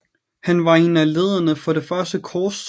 Han var en af lederne for det første korstog